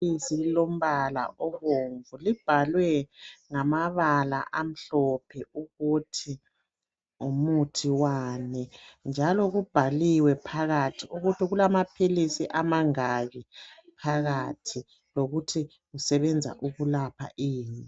Ibhokisi elilombala obomvu libhaliwe ngamabala amhlophe ukuthi ngumuthi wani njalo kubhaliwe phakathi ukuthi kulamaphilisi amangaki phakathi lokuthi usebenza ukulapha ni.